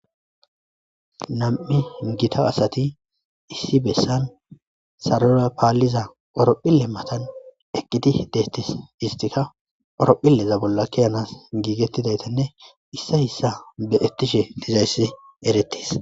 nam7i gita asati issi bessan sarora paalliza orophille matan eqqidi deettis histika orophilleza bolla kiyanas giigettidayteinne issa hissa beettishe dizayssi eretis